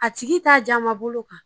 A tigi t'a jamabolo kan